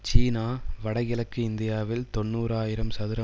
சீனா வடகிழக்கு இந்தியாவில் தொன்னூறு ஆயிரம் சதுர